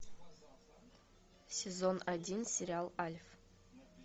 сезон один сериал альф